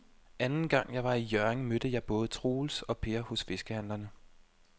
Anden gang jeg var i Hjørring, mødte jeg både Troels og Per hos fiskehandlerne.